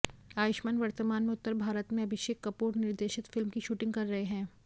आयुष्मान वर्तमान में उत्तर भारत में अभिषेक कपूर निर्देशित फिल्म की शूटिंग कर रहे हैं